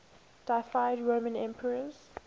deified roman emperors